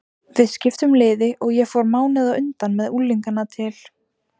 Við skiptum liði og ég fór mánuði á undan með unglingana til